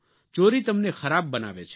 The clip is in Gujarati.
ચોરી તમને ખરાબ બનાવે છે